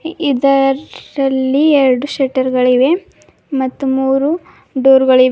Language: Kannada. ಇದರಲ್ಲಿ ಎರಡು ಶೆಟರ್ ಗಳಿವೆ ಮತ್ತು ಮೂರು ಡೋರ್ ಗಳಿವೆ.